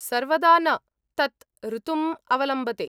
सर्वदा न, तत् ऋतुम् अवलम्बते।